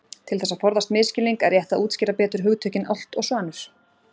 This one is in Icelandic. Til þess að forðast misskilning er rétt að útskýra betur hugtökin álft og svanur.